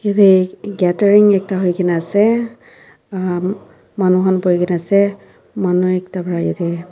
yate gathering ekta hoi kena ase manu khan borhi kena ase manu ekta para yate.